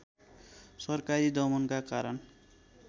सरकारी दमनका कारण